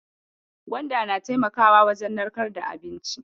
Gwanda na taimakawa wajen narkar da abinci.